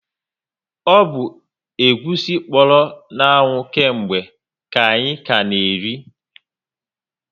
O bu egwusi kpọrọ na anwụ ke mgbe ka anyị ka na eri